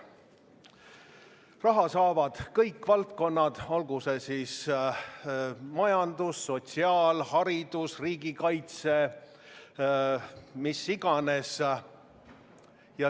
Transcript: Raha saavad kõik valdkonnad, olgu see siis majandus, sotsiaalvaldkond, haridus, riigikaitse, mis iganes.